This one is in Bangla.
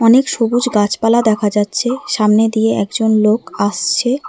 অনেক সবুজ গাছপালা দেখা যাচ্ছে সামনে দিয়ে একজন লোক আসছে।